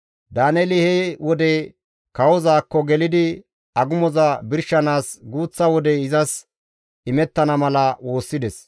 Daaneeli he wode kawozaakko gelidi agumoza birshanaas guuththa wodey izas imettana mala woossides.